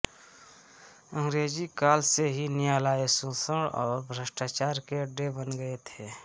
अंग्रेजी काल से ही न्यायालय शोषण और भ्रष्टाचार के अड्डे बन गये थे